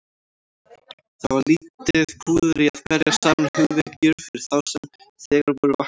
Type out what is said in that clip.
Það var lítið púður í að berja saman hugvekjur fyrir þá sem þegar voru vaknaðir.